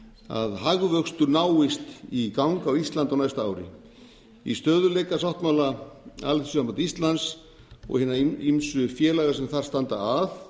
að hagvöxtur náist í gang á íslandi á næsta ári í stöðugleikasáttmála alþýðusambands íslands og hinna ýmsu félaga sem þar standa að